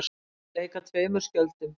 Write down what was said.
Að leika tveimur skjöldum